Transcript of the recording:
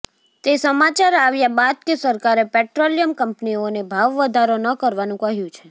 તે સમાચાર આવ્યા બાદ કે સરકારે પેટ્રોલિયમ કંપનીઓને ભાવ વધારો ન કરવાનું કહ્યું છે